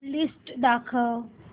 list दाखव